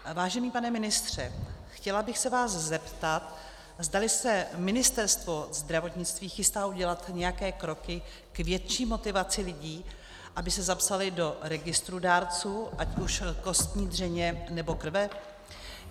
Vážený pane ministře, chtěla bych se vás zeptat, zdali se Ministerstvo zdravotnictví chystá udělat nějaké kroky k větší motivaci lidí, aby se zapsali do registrů dárců, ať už kostní dřeně, nebo krve.